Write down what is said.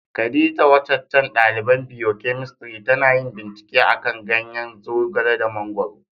Khadijah, wacacan dalibain biyokemistri tana yin bincike a'kan ganyen Zogale da Mangoro.